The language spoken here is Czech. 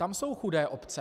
Tam jsou chudé obce.